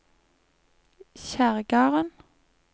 Kjerrgarden